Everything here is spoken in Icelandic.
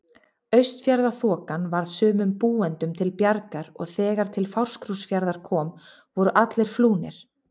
Austfjarðaþokan varð sumum búendum til bjargar og þegar til Fáskrúðsfjarðar kom voru allir flúnir.